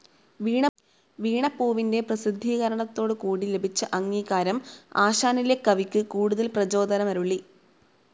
വീണപൂവിൻ്റെ പ്രസിദ്ധീകരണത്തോടുകൂടി ലഭിച്ചഅംഗീകാരം ആശാനിലെ കവിക്ക് കൂടുതൽ പ്രചോദനമരുളി